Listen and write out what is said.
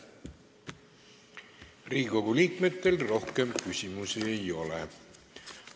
Riigikogu liikmetel rohkem küsimusi ei ole.